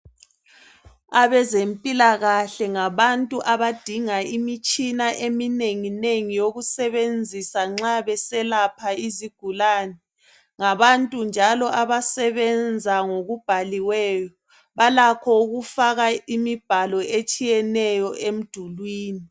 Abezempila kahle ngabantu abadinga imitshina eminengi nengi yokusebenzisa nxa beselapha izigulani ngabantu njalo abasebenza ngokubhaliweyo balakho ukufaka imibhalo etshiyeneyo emdulwini